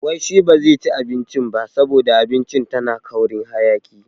Wai shi ba zai ci abincin ba saboda abincin tana ƙaurin hayaki.